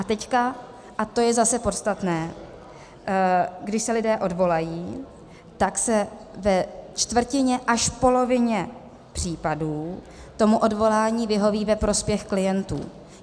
A teď - a to je zase podstatné - když se lidé odvolají, tak se ve čtvrtině až polovině případů tomu odvolání vyhoví ve prospěch klientů.